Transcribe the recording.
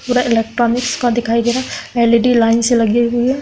पूरा इलेक्ट्रोनिक्स का दिखाई दे रहा है एल.इ.डी. लाइन से लगी हुई है।